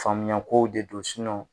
Faamuya kow de don